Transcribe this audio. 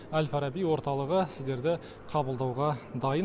әл фараби орталығы сіздерді қабылдауға дайын